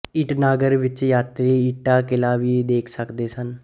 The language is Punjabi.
ਈਟਾਨਗਰ ਵਿੱਚ ਯਾਤਰੀ ਈਟਾ ਕਿਲਾ ਵੀ ਦੇਖ ਸਕਦੇ ਹਨ